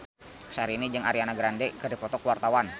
Syahrini jeung Ariana Grande keur dipoto ku wartawan